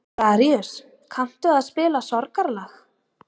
Daríus, kanntu að spila lagið „Sorgarlag“?